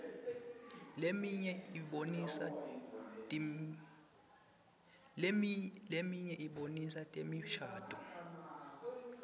leminye ibonisa temishadvo